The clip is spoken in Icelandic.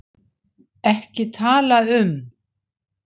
EKKI TALA UM